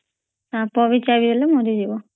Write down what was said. ସାପ ବି ଚାଲିଗଲେ ମରିଯିବ